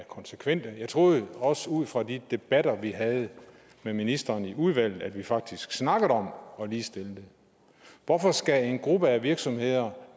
konsekvente jeg troede også ud fra de debatter vi havde med ministeren i udvalget at vi faktisk snakkede om at ligestille dem hvorfor skal til en gruppe af virksomheder